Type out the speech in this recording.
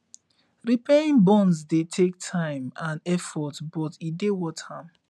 repairing bonds dey take time and effort but e dey worth am